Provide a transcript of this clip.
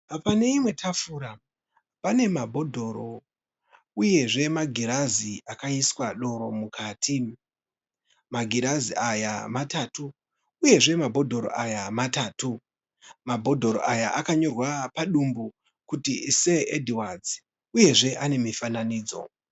Pane imwe tafura pane mabhodhoro uyezve magirazi akaiswa doro mukati. Magirazi aya matatu uyezve mabhodhoro matatu. Mabhodhoro aya akanyorwa padumbu kuti Sir Edwards uyezve ane mifananidzo.